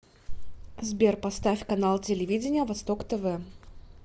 сбер поставь канал телевидения восток тв